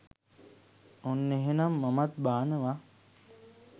ඔන්න එහෙනං මමත් බානවා